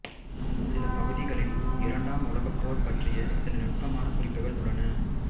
சில பகுதிகளில் இரண்டாம் உலகப்போர் பற்றிய சில நுட்பமான குறிப்புகள் உள்ளன